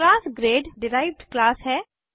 class grade derived class है